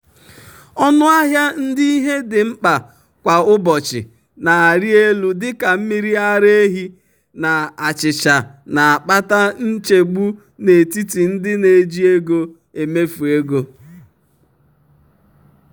ọnụ ahịa nke ihe dị mkpa kwa ụbọchị na-arịelu dị ka mmiri ara ehi na achịcha na-akpata nchegbu n'etiti ndị na-eji ego emefu ego.